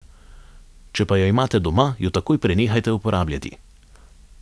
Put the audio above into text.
Če pa jo imate doma, jo takoj prenehajte uporabljati.